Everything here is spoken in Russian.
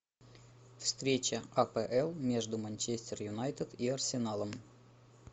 встреча апл между манчестер юнайтед и арсеналом